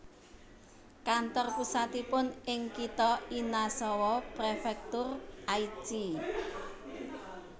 Kantor pusatipun ing kitha Inazawa Prefektur Aichi